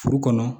Furu kɔnɔ